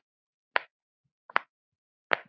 Boð þig varar hættum við.